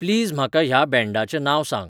please म्हाका ह्या बॅंडाचें नांव सांग